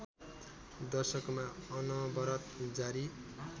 दशकमा अनवरत जारी